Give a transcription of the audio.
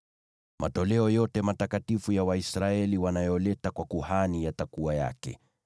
Matoleo yote matakatifu ya Waisraeli wanayoleta kwa kuhani yatakuwa yake.